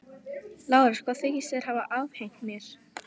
LÁRUS: Hvað þykist þér hafa afhent mér?